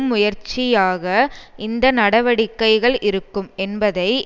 முயற்சியாக இந்த நடவடிக்கைகள் இருக்கும் என்பதை